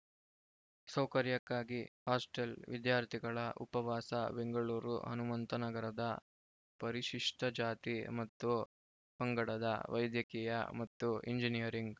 ಸೌಕರ‍್ಯಕ್ಕಾಗಿ hostel ವಿದ್ಯಾರ್ಥಿಗಳ ಉಪವಾಸ ಬೆಂಗಳೂರು ಹನುಮಂತನಗರದ ಪರಿಶಿಷ್ಟಜಾತಿ ಮತ್ತು ಪಂಗಡದ ವೈದ್ಯಕೀಯ ಮತ್ತು ಎಂಜಿನಿಯರಿಂಗ್‌